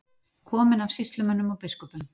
Kominn af sýslumönnum og biskupum